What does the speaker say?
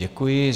Děkuji.